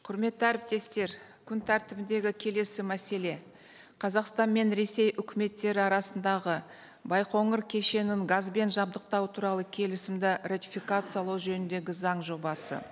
құрметті әріптестер күн тәртібіндегі келесі мәселе қазақстан мен ресей үкіметтері арасындағы байқоңыр кешенін газбен жабдықтау туралы келісімді ратификациялау жөніндегі заң жобасы